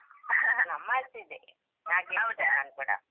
ನಮ್ಮಚೆ ಇದೆ ಹಾಗೆ ಕೇಳಿದ್ದು ನಾನು ಕೂಡ.